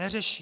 Neřeší.